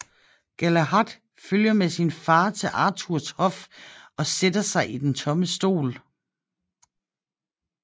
Galahad følger med sin far til Arthurs hof og sætter sig i den tomme stol